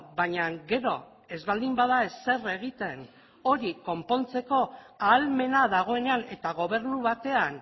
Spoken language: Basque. baina gero ez baldin bada ezer egiten hori konpontzeko ahalmena dagoenean eta gobernu batean